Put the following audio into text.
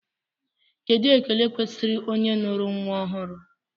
Kedụ ekele kwesịrị onye nụrụ nnwa ọhụrụ?